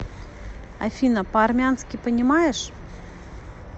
афина по армянски понимаешь